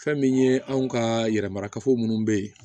Fɛn min ye anw ka yɛrɛmarakafo minnu bɛ yen